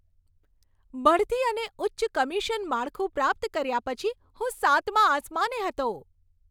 બઢતી અને ઉચ્ચ કમિશન માળખું પ્રાપ્ત કર્યા પછી, હું સાતમા આસમાને હતો.